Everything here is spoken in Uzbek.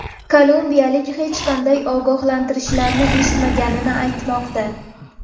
Kolumbiyalik hech qanday ogohlantirishlarni eshitmaganini aytmoqda.